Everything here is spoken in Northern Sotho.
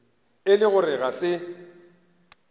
e le gore ga se